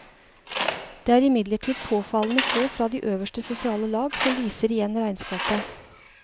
Det er imidlertid påfallende få fra de øverste sosiale lag som viser igjen i regnskapet.